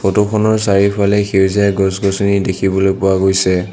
Photo খনৰ চাৰিওফালে সেউজীয়া গছ গছনি দেখিবলৈ পোৱা গৈছে।